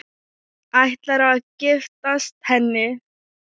Ætlarðu að giftast henni?